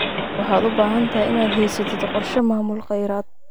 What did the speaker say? Waxaad u baahan tahay inaad haysatid qorshe maamul kheyraad.